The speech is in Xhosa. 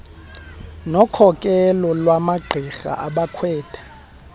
nokhokelo lwamagqirha abakhwetha